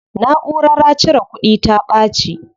Naʼurara cire kudin ta ɓaci.